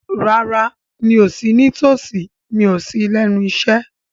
Rárá, mi ò sí ní tòsí, mi ò sí lẹ́nu iṣẹ́